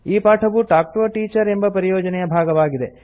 ಈ ಪಾಠವು talk to a teacher ಎಂಬ ಪರಿಯೋಜನೆಯ ಭಾಗವಾಗಿದೆ